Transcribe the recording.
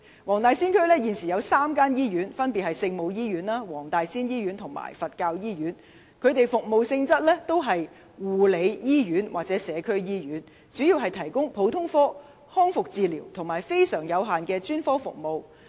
黃大仙區現時有3間醫院，分別是聖母醫院、東華三院黃大仙醫院和香港佛教醫院，其服務性質是護理醫院或社區醫院，主要提供普通科、康復治療和非常有限的專科服務。